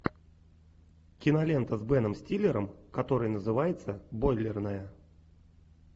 кинолента с беном стиллером которая называется бойлерная